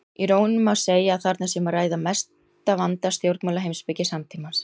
Í raun má segja að þarna sé um að ræða mesta vanda stjórnmálaheimspeki samtímans.